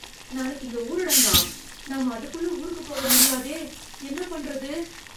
நாளைக்கு இங்க ஊரடங்கா, நாம அதுக்குள்ள ஊருக்குப் போக முடியாதே, என்ன பண்றது?